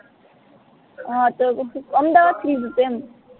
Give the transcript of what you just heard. હા તો અમદાવાદ થી જ હતું ઇમ